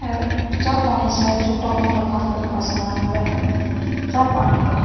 अर चा पाणी स छोटा मोटा खाण पीण का समान मिल्ह ह चा पाणी का --